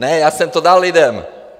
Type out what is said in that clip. Ne, já jsem to dal lidem!